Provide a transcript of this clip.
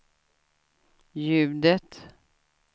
ljudet